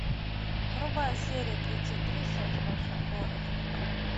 врубай серия тридцать три секс в большом городе